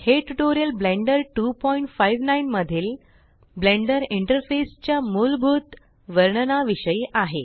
हे tutorial Blender 259मधील Blender interface च्या मूलभूत वर्णना विषयी आहे